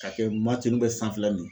K'a kɛ bɛɛ sanfɛlanin